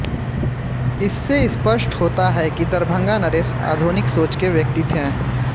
इससे स्पष्ट होता है कि दरभंगा नरेश आधुनिक सोच के व्यक्ति थे